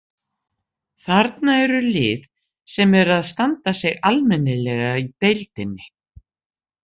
Þarna eru lið sem eru að standa sig almennilega í deildinni.